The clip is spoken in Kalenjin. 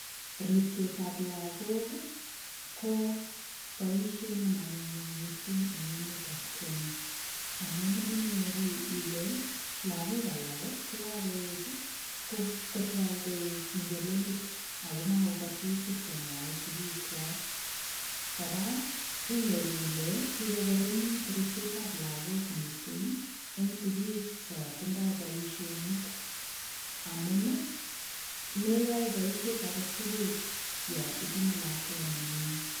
Ripsetab lakok ko boishet nemanyunyum mising en emetab Kenya amun inyoru ilee lokok alak chekokoik kotok koik ng'elelik ak ko mokokose tukuk chemwoe sikiikwak, kora inyoru ilee kikokoromit ribsetab lakok mising en sikik chon tindoi boishonik amun meyoe boishet aketukul yoon itinye lakwet neming'in.